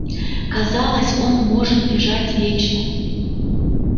казалось он может бежать вечно